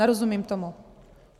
Nerozumím tomu.